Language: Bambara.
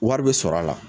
Wari bɛ sɔrɔ a la